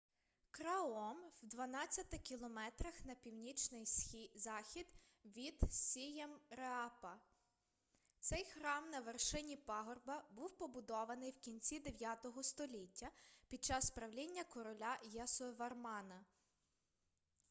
краом в 12 км на північний захід від сіємреапа цей храм на вершині пагорба був побудований в кінці 9 століття під час правління короля ясовармана